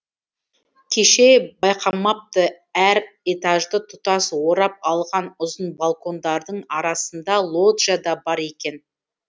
кеше байқамапты әр этажды тұтас орап алған ұзын балкондардың арасында лоджия да бар екен